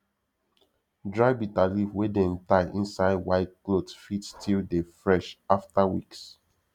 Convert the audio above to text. dry bitterleaf wey dem tie inside white cloth fit still dey fresh after weeks